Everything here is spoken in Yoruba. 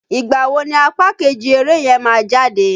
Ìgbà wo ni apá kejì eré yẹn má jáde?